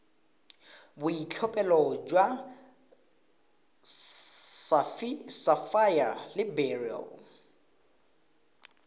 boitlhophelo jwa sapphire le beryl